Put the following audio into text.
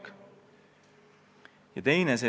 Tema ka võtab tegevuslube ära.